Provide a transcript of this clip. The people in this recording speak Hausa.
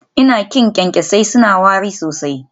Ina ƙin kyankyasai, suna wari sosai